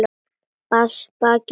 Bakið hús.